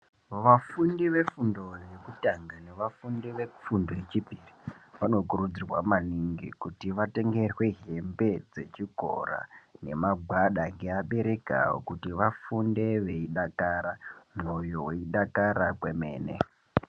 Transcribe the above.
Vafundi vefundo yekutanga nevafundi vefundo yechipiri vanokurudzirwa maningi kuti vatengerwe hembe dzechikora nemagwada ngeabereki wavo kuti vafunde veidakara mwoyo weidakara kwemene.